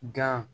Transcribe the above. Gan